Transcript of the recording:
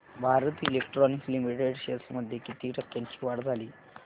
Bharat electronics limited shares मध्ये किती टक्क्यांची वाढ झाली